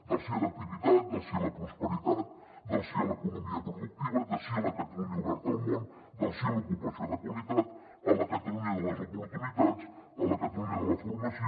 del sí a l’activitat del sí a la prosperitat del sí a l’economia productiva del sí a la catalunya oberta al món del sí a l’ocupació de qualitat a la catalunya de les oportunitats a la catalunya de la formació